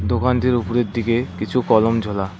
দোকানটির উপরের দিকে কিছু কলম ঝোলা।